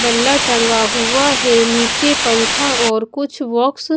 बल्ला टंगा हुआ है नीचे पंखा और कुछ बॉक्स --